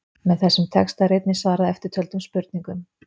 Með þessum texta er einnig svarað eftirtöldum spurningum: